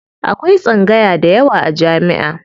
Akwai tsangaya dayawa a jami'a.